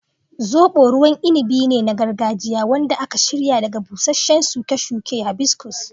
Zobo ruwan inabi ne na gargajiya wanda aka shirya daga busasshen shuke-shuke hibiscus.